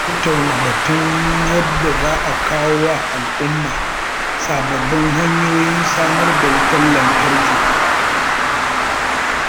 Za a tattauna batun yadda za a kawo wa al’umma sababbin hanyoyin samar da wutar lantarki.